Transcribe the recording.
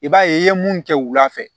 I b'a ye i ye mun kɛ wula fɛ